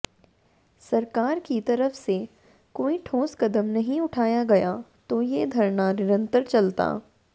सरकार की तरफ से कोई ठोस कदम नहीं उठाया गया तो ये धरना निरंतर चलता